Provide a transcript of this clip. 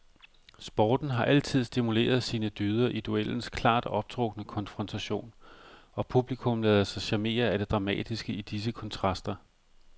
Sporten har altid stimuleret sine dyder i duellens klart optrukne konfrontation, og publikum ladet sig charmere af det dramatiske i disse kontraster.